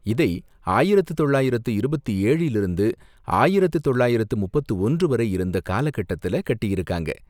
இதை ஆயிரத்து தொள்ளாயிரத்து இருபத்து ஏழில் இருந்து ஆயிரத்து தொள்ளாயிரத்து முப்பத்து ஒன்று வரை இருந்த காலக்கட்டத்துல கட்டியிருக்காங்க.